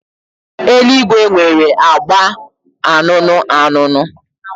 Eluigwe nwere agba anụnụ anụnụ.